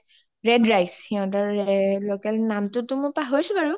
Red rice সিহতৰে local নামটো মই পাহৰিছো বাৰু